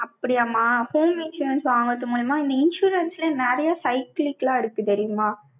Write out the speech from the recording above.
அப்படியாம்மா? home insurance வாங்குறது மூலியமா, இந்த insurance ல நிறைய cyclic லாம் இருக்கு தெரியுமா